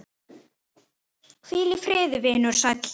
Hvíl í friði vinur sæll.